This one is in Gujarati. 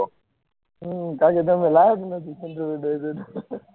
હું તારી જોડે